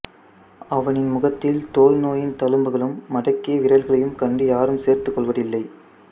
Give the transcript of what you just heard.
அவனின் முகத்தில் தொழுநோயின் தழும்புகளும் மடக்கிய விரல்களையும் கண்டு யாரும் சேர்த்துக்கொள்வதில்லை